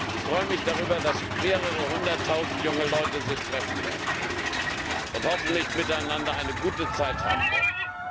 Ich freue mich darüber, dass mehrere Hunderttausend junge Leute sich dort treffen und hoffentlich miteinander eine gute Zeit haben werden.